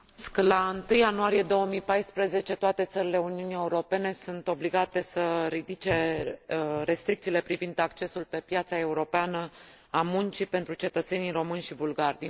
La 1 ianuarie 2014, toate țările Uniunii Europene sunt obligate să ridice restricțiile privind accesul pe piața europeană a muncii pentru cetățenii români și bulgari.